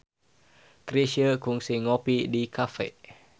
Chrisye kungsi ngopi di cafe